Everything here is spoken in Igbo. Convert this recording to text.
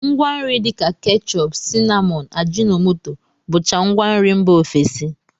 Ngwanri dịka kechọp, sinamọn, ajịnọmoto bụcha ngwanri mba ofesi